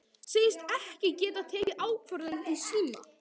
Segist ekki geta tekið ákvörðun í síma.